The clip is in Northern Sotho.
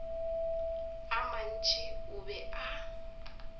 a mantši o be a